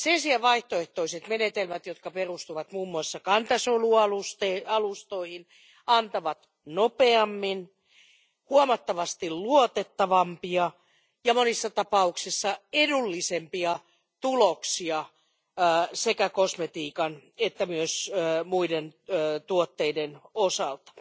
Sen sijaan vaihtoehtoiset menetelmät, jotka perustuvat muun muassa kantasolualustoihin, antavat nopeammin huomattavasti luotettavampia ja monissa tapauksissa edullisempia tuloksia sekä kosmetiikan että myös muiden tuotteiden osalta.